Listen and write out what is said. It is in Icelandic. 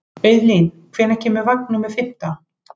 Auðlín, hvenær kemur vagn númer fimmtán?